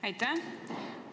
Aitäh!